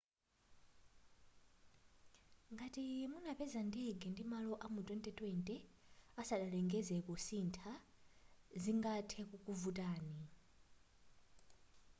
ngati munapeza ndege ndi malo amu 2020 asadalengeze zakusintha zingathe kukuvutani